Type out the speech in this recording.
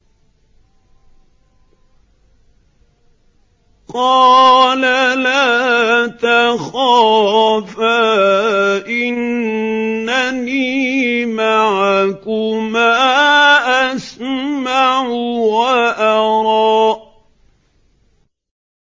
قَالَ لَا تَخَافَا ۖ إِنَّنِي مَعَكُمَا أَسْمَعُ وَأَرَىٰ